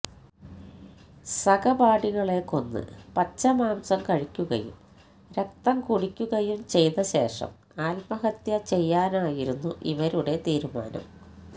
സഹപാഠികളെ കൊന്ന് പച്ച മാംസം കഴിക്കുകയും രക്തം കുടിക്കുകയും ചെയ്ത ശേഷം ആത്മഹത്യ ചെയ്യാനായിരുന്നു ഇവരുടെ തീരുമാനം